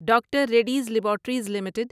doctor Reddy's laboratories limited